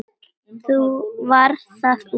Varð það úr.